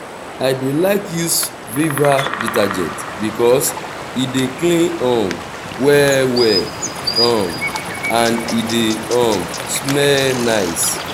i dey like use viva detergent bikos e dey clean um well well um and e dey um smell nice